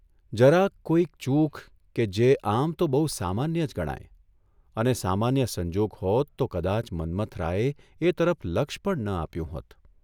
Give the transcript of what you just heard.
જરાક કોઇ ચૂક કે જે આમ તો બહુ સામાન્ય જ ગણાય અને સામાન્ય સંજોગ હોત તો કદાચ મન્મથરાયે એ તરફ લક્ષ પણ ન આપ્યું હોત.